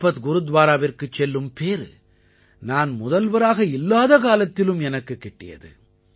லக்பத் குருத்வாராவிற்குச் செல்லும் பேறு நான் முதல்வராக இல்லாத காலத்திலும் எனக்குக் கிட்டியது